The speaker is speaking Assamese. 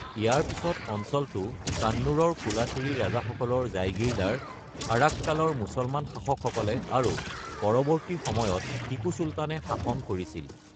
ইয়াৰ পিছত অঞ্চলটো কান্নুৰৰ কোলাথিৰি ৰাজাসকলৰ জাইগিৰদাৰ আৰাক্কালৰ মুছলমান শাসকসকলে আৰু পৰৱৰ্তী সময়ত টিপু চুলতানে শাসন কৰিছিল।